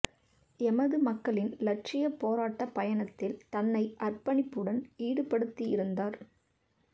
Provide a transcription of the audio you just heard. எமது மக்களின் இலட்சியப் போராட்டப் பயணத்தில் தன்னை அற்பணிப்புடன் ஈடுபடுத்தியிருந்தார்